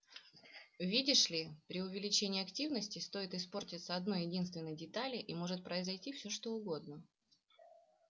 видишь ли при увеличении активности стоит испортиться одной-единственной детали и может произойти всё что угодно